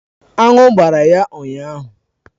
Anụ gbara ya ụnyahụ.